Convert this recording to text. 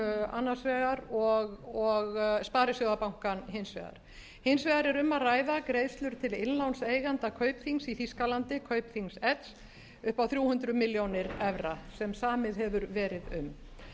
annars vegar og sparisjóðabankann hins vegar hins vegar er um að ræða greiðslur til innlánseigenda kaupþings í þýskalandi kaupþing edge upp á þrjú hundruð milljónir evra sem samið hefur verið um